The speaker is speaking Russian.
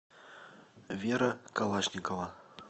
вера калашникова